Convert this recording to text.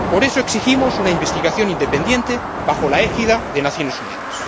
Por eso, exigimos una investigación independiente bajo la égida de las Naciones Unidas.